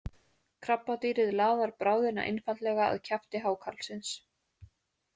Krabbadýrið laðar bráðina einfaldlega að kjafti hákarlsins.